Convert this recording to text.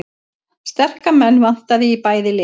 Sterka menn vantaði í bæði lið